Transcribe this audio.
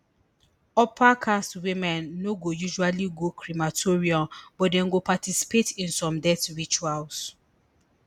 upper caste women no go usually go crematorium but dem go participate in some death rituals